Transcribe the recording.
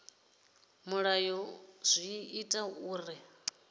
mulayo zwi ḓo ita uri